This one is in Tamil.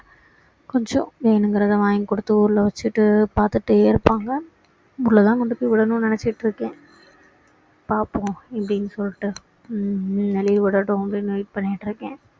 கொஞ்சம் வேணுங்குறத வாங்கி கொடுத்து ஊருல வச்சிட்டு பார்த்துட்டே இருப்பாங்க ஊருல தான் கொண்டு போய் விடணும்னு நினைச்சிட்டு இருக்கேன் பார்ப்போம் எப்படின்னு சொல்லிட்டு ஹம் ஹம் leave விடட்டும் அப்படின்னு wait பண்ணிட்டு இருக்கேன்